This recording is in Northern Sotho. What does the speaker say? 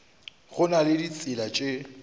go na le ditsela tše